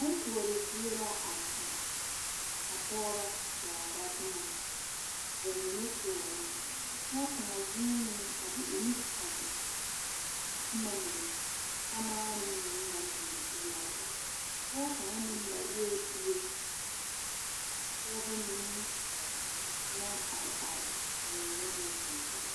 Boŋ koɔrezie la a kyɛ ka pɔgeba daara boma ba mine koɔrɔ pɔge kaŋa zuunee a de o nu tuŋ a boma mine samaane mine naŋ biŋ peɛle o pɔge kaŋa meŋ marɛɛ bie ka pɔgeba mine naŋ are are ka ba mine meŋ zeŋ.